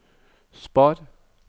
spar